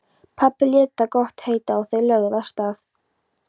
Pabbi lét það gott heita og þau lögðu af stað.